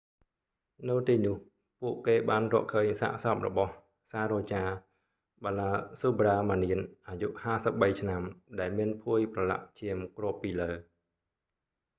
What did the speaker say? នៅទីនោះពួកគេបានរកឃើញសាកសពរបស់ saroja balasubramanian អាយុ 53 ឆ្នាំដែលមានភួយប្រឡាក់ឈាមគ្របពីលើ